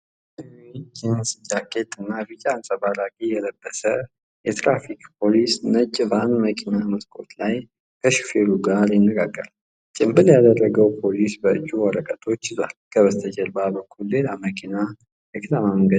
ሰማያዊ ጂንስ ጃኬት እና ቢጫ አንፀባራቂ የለበሰ የትራፊክ ፖሊስ ነጭ ቫን መኪና መስኮት ላይ ከሹፌሩ ጋር ይነጋገራል። ጭምብል ያደረገው ፖሊስ በእጁ ወረቀቶች ይዟል፤ ከበስተጀርባ በኩል ሌላ መኪናና የከተማ መንገድ ይታያል።